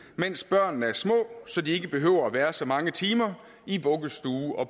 mens børnene er små så de ikke behøver at være så mange timer i vuggestue og